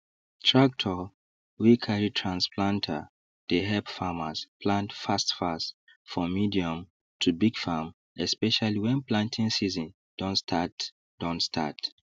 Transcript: tractor wey carry trans planter dey help farmers plant fastfast for medium to big farm especially when planting season don start don start